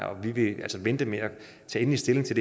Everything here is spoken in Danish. vi vil altså vente med at tage endelig stilling til